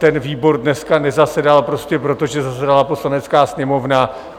Ten výbor dneska nezasedal prostě proto, že zasedala Poslanecká sněmovna.